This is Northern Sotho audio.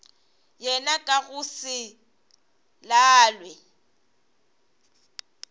yena ka go se lalwe